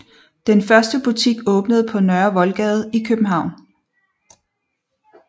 Den første butik åbnede på Nørre Voldgade i København